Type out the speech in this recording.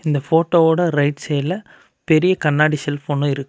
இந்த போட்டோவோட ரைட் சைடுல பெரிய கண்ணாடி செல்ஃப் ஒன்னு இருக்கு.